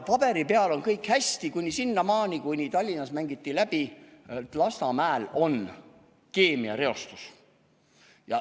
Paberi peal oli kõik hästi, sinnamaani, kui Tallinnas mängiti läbi, et Lasnamäel on keemiareostus.